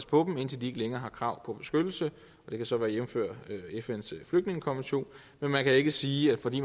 på dem indtil de ikke længere har krav på beskyttelse det kan så jævnføres med fns flygtningekonvention men man kan ikke sige at fordi